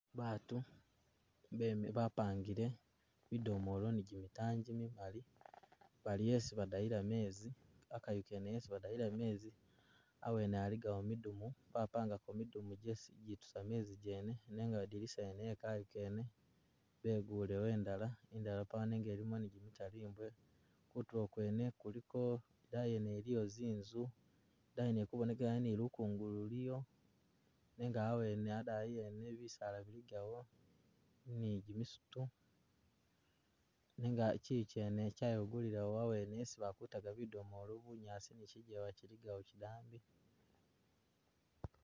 Batu beme bapangile bidomoolo ne gyimitaayi jimigali bali esi badayila mezi, akayu kene esi badayila mezi awene aligawo midumu bapangako midumu gyesi jitusa mezi gene nenga adilisa yene e'kayu kene begulewo endala, indala pawo nenga ilimo ni gimitalimbwo, kutulo kwene kuliko idayi yene iliyo zinzu, idayi wene ilikubonekelayo ni lukungulu luliyo nenga awene adayi ene bisaala biligayo ni gyimisitu nenga kyiyi kyene kyayeguliwo awene esi bakutaga bidomoolo bunyaasi ni kijjewa kyiligawo kyidambi